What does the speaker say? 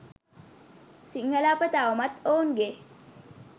සිංහල අප තවමත් ඔවුන්ගේ